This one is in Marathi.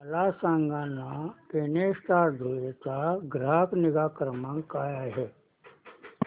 मला सांगाना केनस्टार धुळे चा ग्राहक निगा क्रमांक काय आहे